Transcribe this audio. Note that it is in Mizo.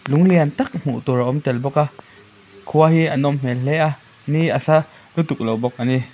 lung lian tâk hmuh tur a awm tel bawk a khua hi a nawm hmel hle a ni a sa lutuk lo bawk ani.